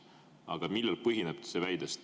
Aga millel põhineb see väide?